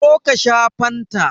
Zo ka sha fanta!